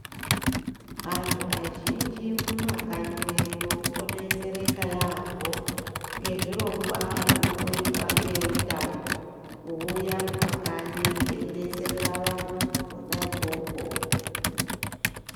Antu azhinji mumakanyi mwedu odetsereka yaambo ngezvirongwa zvinomboitwa ngeveutano kuuya kumakanyi eyibetserera vantu kona ikoko.